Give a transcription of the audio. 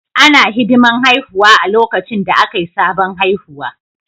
Ana hidiman haihuwa a lokacin da Akai sabon haihuwa